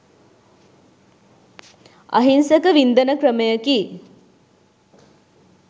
අහිංසක වින්දන ක්‍රමයකි.